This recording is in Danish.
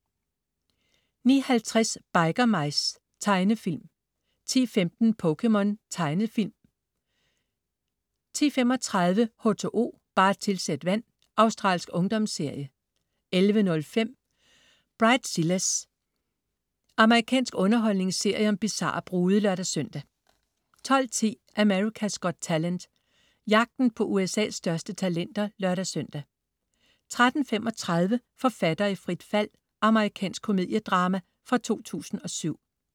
09.50 Biker Mice. Tegnefilm 10.15 POKéMON. Tegnefilm 10.35 H2O, bare tilsæt vand. Australsk ungdomsserie 11.05 Bridezillas. Amerikansk underholdningsserie om bizarre brude (lør-søn) 12.10 America's Got Talent. Jagten på USA's største talenter (lør-søn) 13.35 Forfatter i frit fald. Amerikansk komediedrama fra 2007